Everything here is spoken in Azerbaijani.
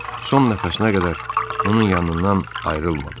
Son nəfəsinə qədər onun yanından ayrılmadım.